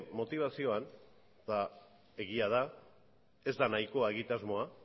motibazioan eta egia da ez da nahikoa egitasmoa